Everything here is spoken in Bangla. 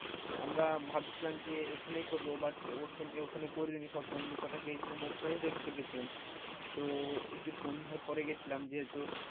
আমরা ভাবছিলাম যে এখানেই করবো but ওখানে করি নি, সব বন্ধু কোটা গিয়েছিলাম ওখানেই দেখতে গেছিলাম তো একটু সন্ধ্যার পরে গেছিলাম যেহেতু,